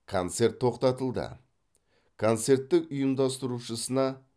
концерт тоқтатылды концерттің ұйымдастырушысына